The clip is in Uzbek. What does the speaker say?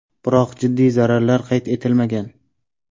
Biroq jiddiy zararlar qayd etilmagan.